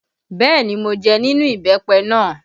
Bẹẹ ni, mo jẹ nínú ìbẹ́pẹ náà